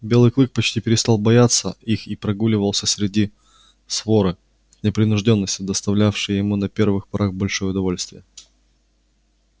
белый клык почти перестал бояться их и прогуливался среди своры с непринуждённостью доставлявшей ему на первых порах большое удовольствие